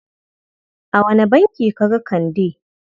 A wane banki ka ga Kande?